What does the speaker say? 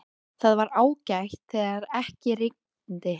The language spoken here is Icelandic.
Það var ágætt þegar ekki rigndi.